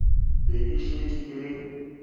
be e šetše e le